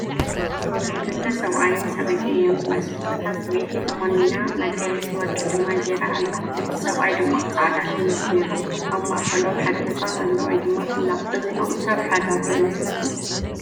ክልተ ሰብኣይን ሰበይትን እዮም ዝመስሉ፡፡ እታ ሰበይቲ ተቆኒና መጋየፂ ወርቂ ድማ ጌይራ ኣላ፡፡ እቲ ሰብኣይ ድማ ፃዕዳ ሸሚዝ ገይሩ ኣሎ፡፡ ኣብ ማእኸሎም ሓደ ህፃን ኣሎ/ላ፡፡ እዚኦም ሰብ ሓዳር ዶ ይመስሉ?